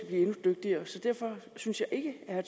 endnu dygtigere derfor synes jeg ikke at